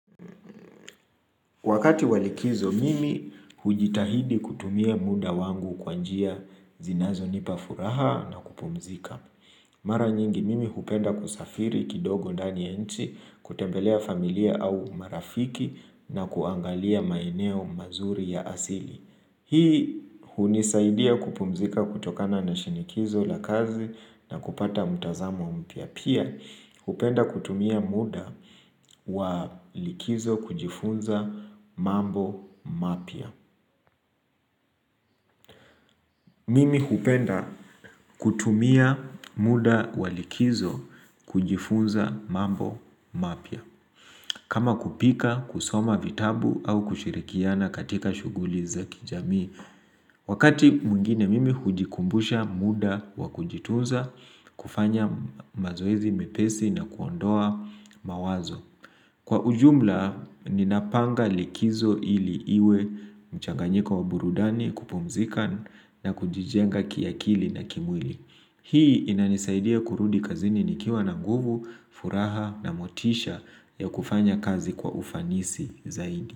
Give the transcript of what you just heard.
Wakati wa likizo mimi, hujitahidi kutumia muda wangu, kwa njia zinazonipa furaha na kupumzika. Mara nyingi, mimi hupenda kusafiri kidogo ndani nchi, kutembelea familia au marafiki, na kuangalia maeneo mazuri ya asili. Hii hunisaidia kupumzika kutokana na shinikizo la kazi, na kupata mtazamo mpya. Pia, hupenda kutumia muda wa likizo kujifunza mambo mapya. Mimi hupenda kutumia muda walikizo kujifunza mambo mapia kama kupika, kusoma vitabu, au kushirikiana katika shughuli za kijamii Wakati mwingine, mimi hujikumbusha muda wa kujitunza kufanya mazoezi mepesi na kuondoa mawazo. Kwa ujumla, ninapanga likizo ili iwe mchanganyiko wa burudani, kupumzika, na kujijenga kiakili na kimwili. Hii inanisaidia kurudi kazini nikiwa na nguvu, furaha na motisha ya kufanya kazi kwa ufanisi zaidi.